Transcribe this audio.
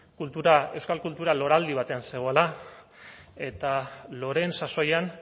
kultura euskal kultura loraldia batean zegoela eta loreen sasoian